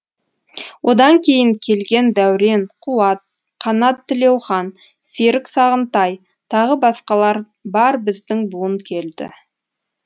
одан кейін келген дәурен қуат қанат тілеухан серік сағынтай тағы басқалар бар біздің буын келді